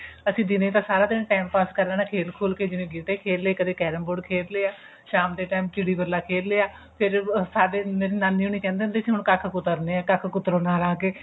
ਅਸੀਂ ਦਿਨੇ ਤਾਂ ਸਾਰਾ ਦਿਨ time pass ਕਰ ਲੇਣਾ ਖੇਲ ਖੁਲ ਕੇ ਜਿਵੇਂ ਗੀਟੇ ਖੇਲ ਲੇ ਕਦੇ carrom board ਖੇਲ ਲਿਆ ਸ਼ਾਮ ਦੇ time ਚਿੜੀ ਬੱਲਾ ਖੇਲ ਲਿਆ ਫੇਰ ਸਾਡੇ ਨਾਨੀ ਹੋਣੀ ਕਹਿੰਦੇ ਹੁੰਦੇ ਸੀ ਹੁਣ ਕੱਖ ਕੁਤਰਨੇ ਨੇ ਹੁਣ ਕੱਖ ਕੁਤਰੋ ਨਾਲ ਆ ਕੇ